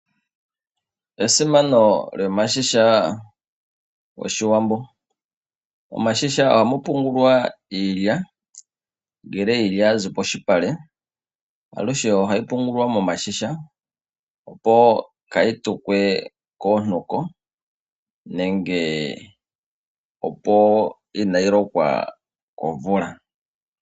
Esimano lyomashisha gOshiwambo ,omashisha ohamu pungulwa iilya ngele iilya ya zi poshipale alushe ohai pungulwa momashisha opo kayi tukwe koontuko nenge opo kayi lokwe komvula.